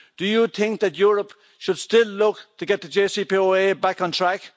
Do you think that Europe should still look to get the JCPOA back on track?